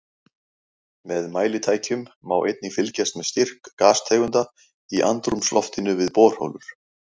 Með mælitækjum má einnig fylgjast með styrk gastegunda í andrúmsloftinu við borholur.